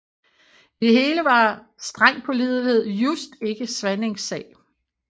I det hele var streng pålidelighed just ikke Svanings sag